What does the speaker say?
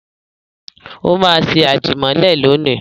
Ó máa ṣe àdìmọ́lẹ̀ lónìí.